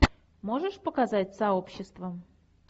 можешь показать сообщество